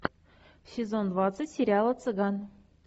сезон двадцать сериала цыган